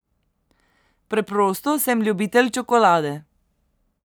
Preprosto sem ljubitelj čokolade.